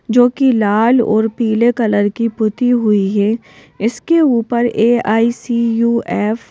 जो कि लाल और पीले कलर की पुती हुई है इसके ऊपर ए_आई_सी_यू_एफ --